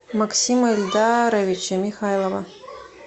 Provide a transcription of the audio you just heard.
максима ильдаровича михайлова